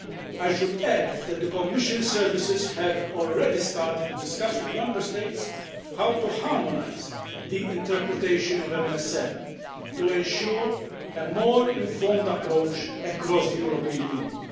I should add that the Commission services have already started to discuss with Member States how to harmonise the interpretation of MSM' to ensure a more informed approach across the European Union.